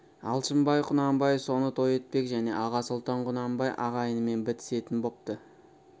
алшынбай құнанбай соны той етпек және аға сұлтан құнанбай ағайынымен бітісетін бопты